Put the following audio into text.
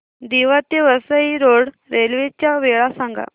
दिवा ते Vasai road railway च्या वेळा सांगा